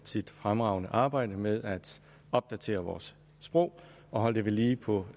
sit fremragende arbejde med at opdatere vores sprog og holde det ved lige på